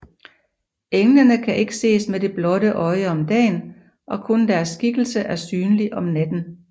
Englene kan ikke ses med det blotte øje om dagen og kun deres skikkelse er synlig om natten